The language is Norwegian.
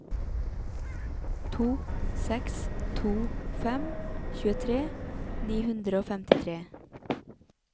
to seks to fem tjuetre ni hundre og femtitre